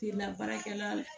Finna baarakɛla la